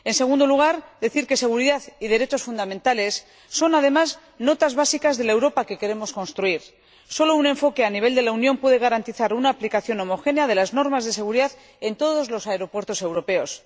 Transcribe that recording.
En segundo lugar, decir que seguridad y derechos fundamentales son, además, notas básicas de la Europa que queremos construir. Solo un enfoque a nivel de la Unión puede garantizar una aplicación homogénea de las normas de seguridad en todos los aeropuertos europeos.